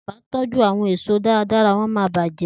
Ti wọn kò bá tójú àwon èèso dáradára wọ́n máa bàjẹ́